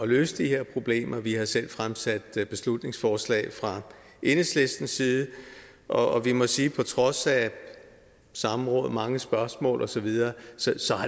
løse de her problemer vi har selv fremsat beslutningsforslag fra enhedslistens side og vi må sige på trods af samråd mange spørgsmål og så videre